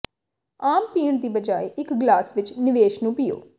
ਆਮ ਪੀਣ ਦੀ ਬਜਾਏ ਇੱਕ ਗਲਾਸ ਵਿੱਚ ਨਿਵੇਸ਼ ਨੂੰ ਪੀਓ